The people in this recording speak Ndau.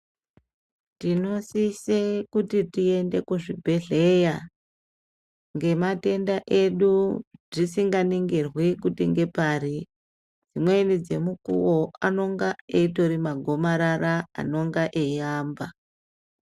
Tinosise kuti tiyende kuzvibhedhleya, ngematenda edu, zvisinganingirwe kuti ngepari. Imweni dzemukuwo, anonga eyitori magomarara anonga eyamba.